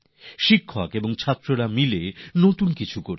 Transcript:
শিক্ষক আর ছাত্ররা মিলে কিছু না কিছু নতুন করছেন